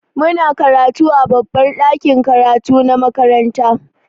Muna karatu a babbar ɗakin karatu na makaranta.